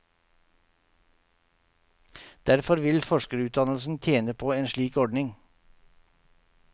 Derfor vil forskerutdannelsen tjene på en slik ordning.